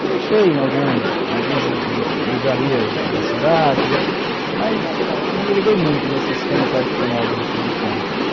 Eu deixei em algumas algumas livrarias da cidade, mas não me liguei muito nesse esquema tradicional de distribuição.